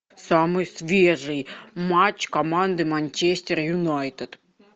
самый свежий матч команды манчестер юнайтед